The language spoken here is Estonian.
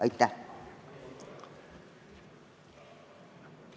Aitäh!